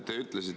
Aitäh!